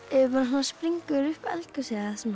springur upp eldgosið